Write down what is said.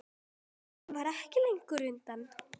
Ólafur verður ekki langt undan.